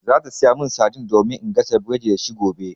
Za ta sayo mani saidin domin in gasa burodi da shi gobe.